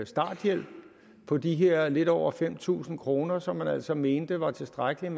starthjælp på de her lidt over fem tusind kr som man altså mente var tilstrækkeligt